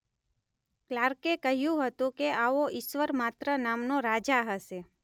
ક્લાર્કે કહ્યું હતું કે આવો ઈશ્વર માત્ર નામનો રાજા હશે